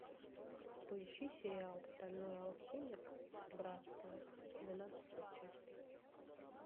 поищи сериал стальной алхимик братство двенадцатая часть